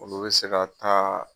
Olu bɛ se ka taa